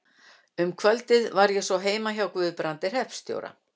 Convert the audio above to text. Um kvöldið var ég svo heima hjá Guðbrandi hreppstjóra.